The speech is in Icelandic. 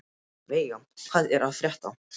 Veiga, hvað er að frétta?